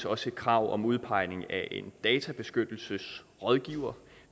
også et krav om udpegning af en databeskyttelsesrådgiver